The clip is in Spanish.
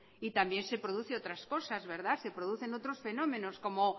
y también se produce otras cosas se producen otros fenómenos como